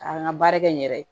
K'an ka baara kɛ n yɛrɛ ye